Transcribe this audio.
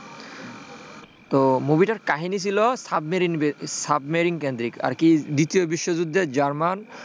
তো movie টার কাহিনী ছিল, সাবমেরিন কেন্দ্রিক আরকি দ্বিতীয় বিশ্বযুদ্ধে জার্মানি,